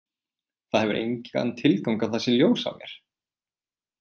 Það hefur engan tilgang að það sé ljós á mér.